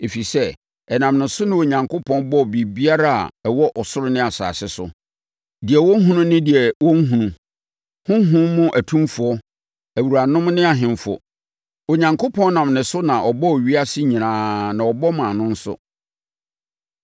Ɛfiri sɛ, ɛnam ne so na Onyankopɔn bɔɔ biribiara a ɛwɔ ɔsoro ne asase so, deɛ wɔhunu ne deɛ wɔnhunu, honhom mu atumfoɔ, awuranom ne ahemfo. Onyankopɔn nam ne so na ɔbɔɔ ewiase nyinaa na ɔbɔ maa no nso.